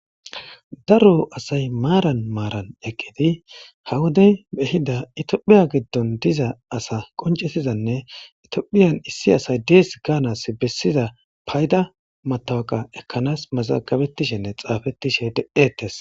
Daro asay maaran maaran eqqidi hawodey behida itophiya giddon diza asa qoncetizanne itiophiyan issi asay dees gaanas bessiza payda matawaqa ekkanas mazagabettishenne xaafettishe de7ettes.